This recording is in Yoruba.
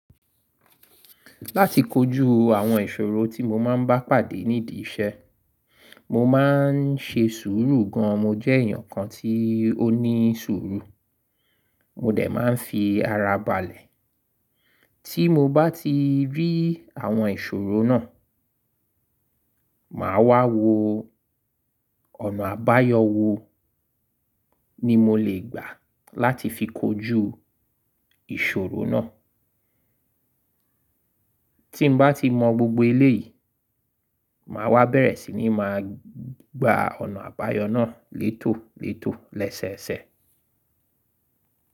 Láti kojú àwọn ìṣòro tí mo máa ń bá pàdé nídi iṣẹ́, mo máa ń ṣe sùúrù gan. Mo jẹ́ èèyàn kan tí ó ní sùúrù, mo dẹ̀ máa ń fi ara balẹ̀. Tí mo bá ti rí àwọn ìṣòro náà, màá wá wo ọ̀nà àbáyọ wò ni mo lè gbà láti fi kojú ìṣòro náà. Tí n bá ti mọ gbogbo iléyìí, màá wá bẹ̀rẹ̀ sí ní máa gba ọ̀nà àbáyọ náà létòlétò, lẹ́sẹẹsẹ.